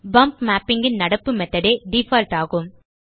pump mapping ன் நடப்பு method ஏ டிஃபால்ட் ஆகும்